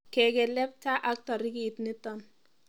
Kekelepta ak tarikit nito.